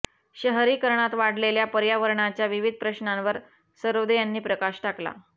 शहरीकरणात वाढलेल्या पर्यावरणाच्या विविध प्रश्नांवर सरोदे यांनी प्रकाश टाकला